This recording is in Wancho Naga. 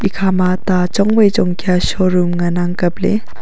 ekhama ta chong wai chong kya showroom ngan ang kap le.